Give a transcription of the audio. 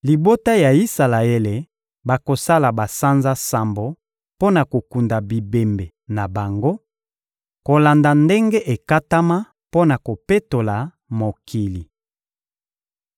Libota ya Isalaele bakosala basanza sambo mpo na kokunda bibembe na bango kolanda ndenge ekatama mpo na kopetola mokili.